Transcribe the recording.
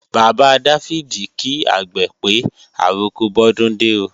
Bàbá Dáfídì kí àgbè pé, àroko bọ́dúndé ó